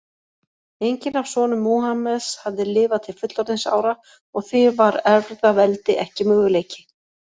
Enginn af sonum Múhameðs hafði lifað til fullorðinsára og því var erfðaveldi ekki möguleiki.